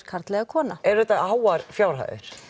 karl eða kona eru þetta háar fjárhæðir